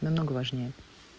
намного важнее